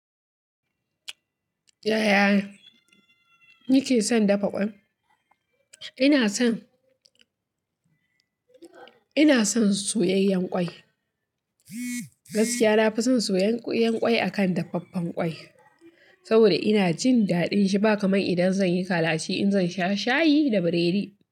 Yaya kike son dafa ƙwai? Ina son, ina son soyayyen ƙwai. Gaskiya na fi son soyayyen ƙwai akan dafaffen ƙwai saboda ina jin daɗin shi ba kamar idan zan yi kalachi in zan sha shayi da biredi.